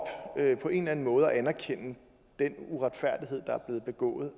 på en eller anden måde anerkende den uretfærdighed der er blevet begået